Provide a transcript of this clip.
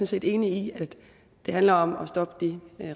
set enig i at det handler om at stoppe de